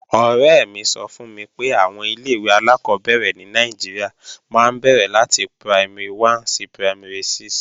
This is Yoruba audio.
Ọ̀rẹ́ mi sọ fún mi pé àwọn ilé-ìwé alákọ́bẹ̀rẹ̀ ní Nàìjíríà máa ń bẹ̀rẹ̀ láti Primary 1 sí Primary 6